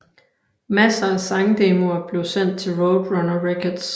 Masser af sangdemoer blev sendt til Roadrunner Records